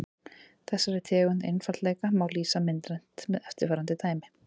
Þessari tegund einfaldleika má lýsa myndrænt með eftirfarandi dæmi.